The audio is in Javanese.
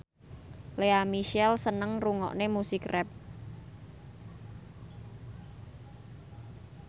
Lea Michele seneng ngrungokne musik rap